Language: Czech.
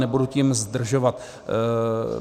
Nebudu tím zdržovat.